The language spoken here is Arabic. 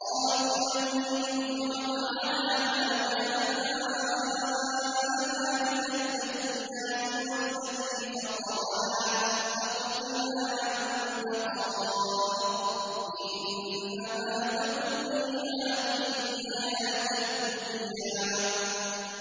قَالُوا لَن نُّؤْثِرَكَ عَلَىٰ مَا جَاءَنَا مِنَ الْبَيِّنَاتِ وَالَّذِي فَطَرَنَا ۖ فَاقْضِ مَا أَنتَ قَاضٍ ۖ إِنَّمَا تَقْضِي هَٰذِهِ الْحَيَاةَ الدُّنْيَا